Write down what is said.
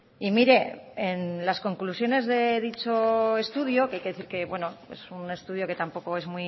y mire en las conclusiones de dicho estudio que hay que decir que es un estudio que tampoco es